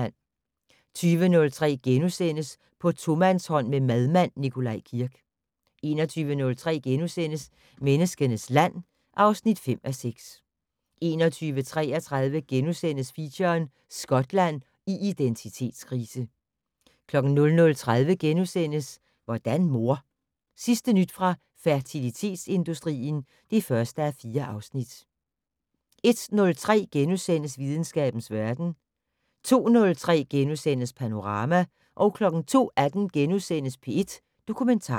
20:03: På tomandshånd med madmand Nikolaj Kirk * 21:03: Menneskenes land (5:6)* 21:33: Feature: Skotland i identitetskrise * 00:30: Hvordan mor? Sidste nyt fra fertilitetsindustrien (1:4)* 01:03: Videnskabens verden * 02:03: Panorama * 02:18: P1 Dokumentar *